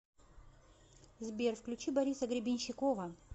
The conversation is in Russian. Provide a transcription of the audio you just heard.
сбер включи бориса гребенщикова